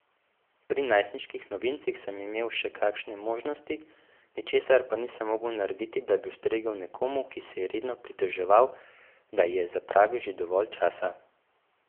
Pri najstniških novincih sem imel še kakšne možnosti, ničesar pa nisem mogel narediti, da bi ustregel nekomu, ki se je redno pritoževal, da je zapravil že dovolj časa.